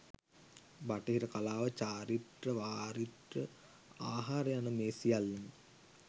බටහිර කලාව චාරිත්‍ර වාරිත්‍ර, ආහාර යන මේ සියල්ලම